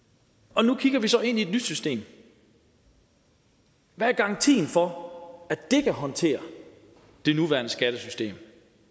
og nu kigger vi så ind i et nyt system hvad er garantien for at det kan håndtere det nuværende skattesystem